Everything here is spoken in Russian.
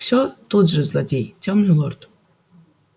все тот же злодей тёмный лорд